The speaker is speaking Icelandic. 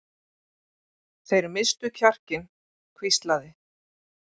Þeir misstu kjarkinn hvíslaði